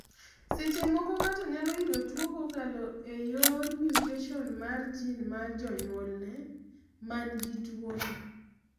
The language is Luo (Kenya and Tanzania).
seche moko, ng'ato nyalo yudo tuo kokalo ee yor mutation mar gene mar janyulne mangi tuo no